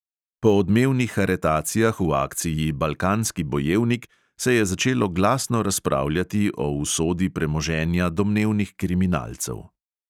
Po odmevnih aretacijah v akciji balkanski bojevnik se je začelo glasno razpravljati o usodi premoženja domnevnih kriminalcev.